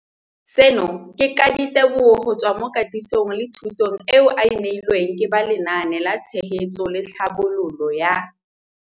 Seno ke ka ditebogo go tswa mo katisong le thu song eo a e neilweng ke ba Lenaane la Tshegetso le Tlhabololo ya